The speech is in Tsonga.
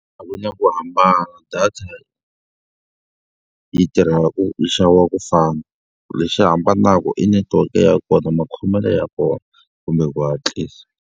A ku na ku hambana data yi tirha yi xaviwa ku fana. Lexi hambanaka i netiweke ya kona, makhomelo ya kona, kumbe ku hatlisa.